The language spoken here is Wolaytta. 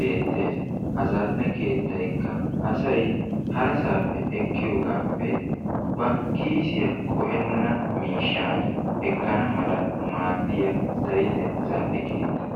des. kattata, etappe bootta katta, karetta meray saretta woykk oginddetaa giyooga. bootta meray giigidobay badala xiiliyaapee karetta meray giigidobay unccappenne badala xiiliyaara naa''a walaki kaattidooga.